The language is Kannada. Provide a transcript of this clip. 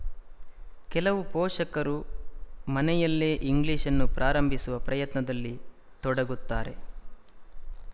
ಕೆಲವು ಪೋಶಕರು ಮನೆಯಲ್ಲೇ ಇಂಗ್ಲಿಶ್‌ನ್ನು ಪ್ರಾರಂಭಿಸುವ ಪ್ರಯತ್ನದಲ್ಲಿ ತೊಡಗುತ್ತಾರೆ